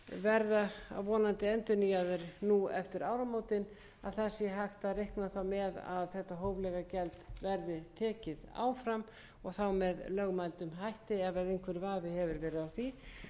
verða vonandi endurnýjaðir nú eftir áramótin að hægt sé að reikna með að þetta hóflega gjald verði tekið áfram og þá með lögmætum hætti ef einhver vafi hefur verið á því hæstvirtur